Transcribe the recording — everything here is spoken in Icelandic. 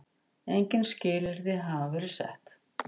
Engin skilyrði hafi verið sett.